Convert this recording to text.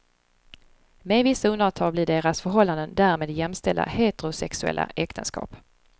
Med vissa undantag blir deras förhållanden därmed jämställda heterosexuella äktenskap.